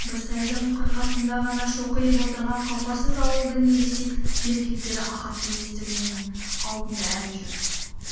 бір сайдың қырқасында ғана шоқиып отырған қауқарсыз ауылдың ересек еркектері ахаттың есігінің алдында әлі тұр